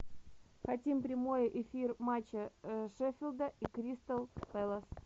хотим прямой эфир матча шеффилда и кристал пэлас